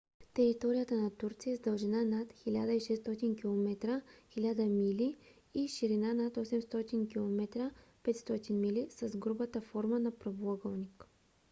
територията на турция е с дължина над 1600 километра 1000 мили и ширина над 800 км 500 мили с грубата форма на правоъгълник